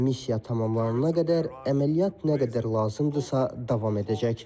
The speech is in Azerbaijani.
Missiya tamamlanana qədər əməliyyat nə qədər lazımdırsa davam edəcək.